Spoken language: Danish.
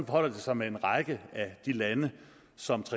forholder det sig med en række af de lande som